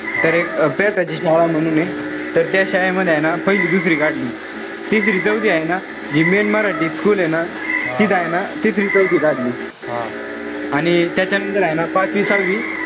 तर एक ची शाळा म्हणून ए. तर त्या शाळेमध्ये हाये ना, पहिली दुसरी काढली. तिसरी-चौथी हाये ना, जे main मराठी school ए ना. तिथं हाये ना तिथं चौथी काढली. आणि त्याच्यानंतर हाये ना, पाचवी-सहावी,